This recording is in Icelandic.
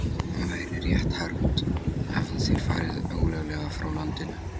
Væri rétt hermt, hefðu þeir farið ólöglega frá landinu.